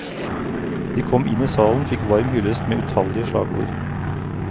De kom inn i salen, fikk varm hyllest med utallige slagord.